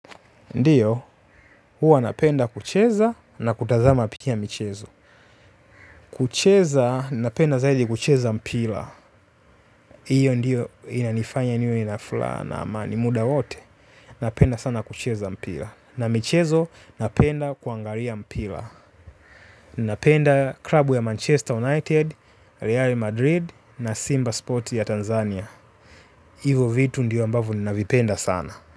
Ndiyo, huwa napenda kucheza na kutazama pi ki a michezo. Kucheza, napenda zaidi kucheza mpila. Iyo ndiyo inanifanya niwe na flaha na amani muda wote. Napenda sana kucheza mpila. Na michezo napenda kuangaria mpila. Napenda klabu ya Manchester United, Real Madrid na Simba Sports ya Tanzania. Hivo vitu ndio ambavo ninavipenda sana.